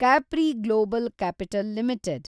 Capri global capital limited